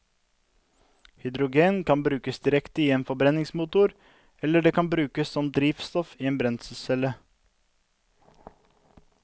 Hydrogen kan brukes direkte i en forbrenningsmotor, eller det kan brukes som drivstoff i en brenselscelle.